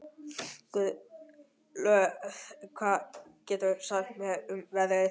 Gunnlöð, hvað geturðu sagt mér um veðrið?